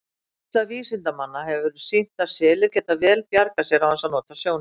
Reynsla vísindamanna hefur sýnt að selir geta vel bjargað sér án þess að nota sjónina.